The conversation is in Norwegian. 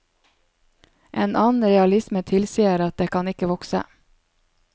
En annen realisme tilsier at det kan ikke vokse.